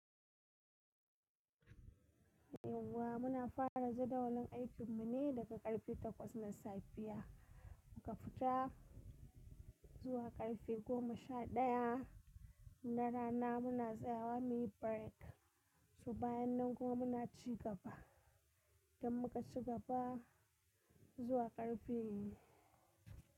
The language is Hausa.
Yauwa muna fara jadawalin aikin mu ne daga karfe takwas na safiya, muka fita zuwa karfe goma sha daya. Na rana muna tsayawa muyi break, sai bayan nan kuma muna cigaba, don muka cigaba zuwa karfe.